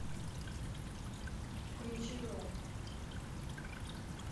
включи рок